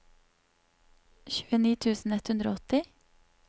tjueni tusen ett hundre og åtti